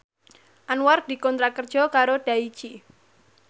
Anwar dikontrak kerja karo Daichi